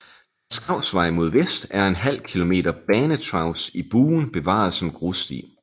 Fra Skausvej mod vest er ½ km banetracé i buen bevaret som grussti